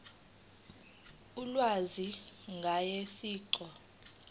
ulwazi ngaye siqu